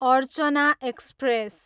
Archana express